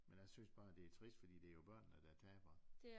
Men jg synes bare det er trist for det er jo børnene der taber